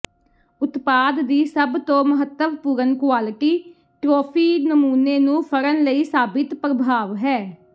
ਉਤਪਾਦ ਦੀ ਸਭ ਤੋਂ ਮਹੱਤਵਪੂਰਨ ਕੁਆਲਿਟੀ ਟ੍ਰੌਫੀ ਨਮੂਨੇ ਨੂੰ ਫੜਨ ਲਈ ਸਾਬਿਤ ਪ੍ਰਭਾਵ ਹੈ